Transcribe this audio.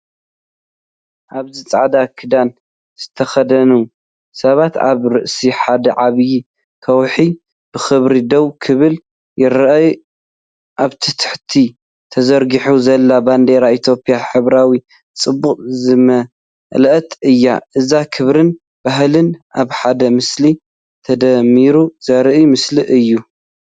ኣብዚ ጻዕዳ ክዳን ዝተኸድኑ ሰባት ኣብ ርእሲ ሓደ ዓቢ ከውሒ ብኽብሪ ደው ክብሉ ይረኣዩ። ኣብ ታሕቲ ተዘርጊሓ ዘላ ባንዴራ ኢትዮጵያ ሕብራዊ ጽባቐ ዝመልአት እያ፤ እዚ ክብርን ባህልን ኣብ ሓደ ምስሊ ተደሚሩ ዘርኢ ምስሊ አዩ።